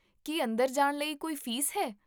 ਕੀ ਅੰਦਰ ਜਾਣ ਲਈ ਕੋਈ ਫੀਸ ਹੈ?